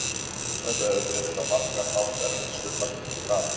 Þetta hefur verið á margan hátt erfitt sumar fyrir Fram.